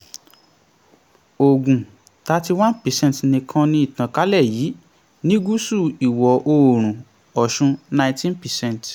ògùn thirty one per cent nìkan ní ìtànkálẹ̀ yìí ní gúsù ìwọ̀ oòrùn ọ̀ṣun nineteen per cent